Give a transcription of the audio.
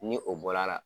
Ni o bɔla a la